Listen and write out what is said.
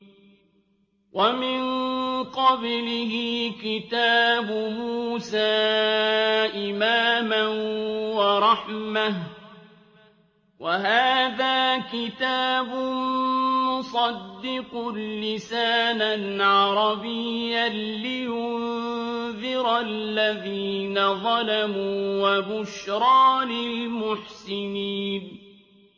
وَمِن قَبْلِهِ كِتَابُ مُوسَىٰ إِمَامًا وَرَحْمَةً ۚ وَهَٰذَا كِتَابٌ مُّصَدِّقٌ لِّسَانًا عَرَبِيًّا لِّيُنذِرَ الَّذِينَ ظَلَمُوا وَبُشْرَىٰ لِلْمُحْسِنِينَ